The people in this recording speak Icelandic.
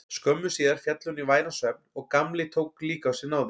Skömmu síðar féll hún í væran svefn og Gamli tók líka á sig náðir.